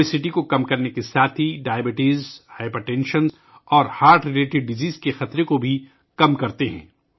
موٹاپا کم کرنے کے ساتھ ساتھ یہ ذیابیطس، ہائی بلڈ پریشر اور دل سے متعلق امراض کا خطرہ بھی کم کرتے ہیں